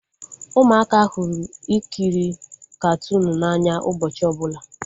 Ụmụaka hụrụ ikiri katuunu n'anya ụbọchị ọbụla